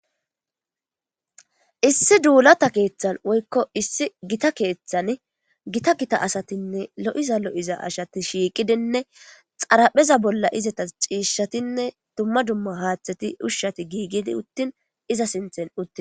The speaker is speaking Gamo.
Issi dullata keththan woyikko issi gitta keththan gitta gitta asatinne lo'iza lo'iza asati shiiqidinne xarapheza bollan izeyas cishshattine duma duma haththetinne ushshati gigidi uttin iza sinththan uttida.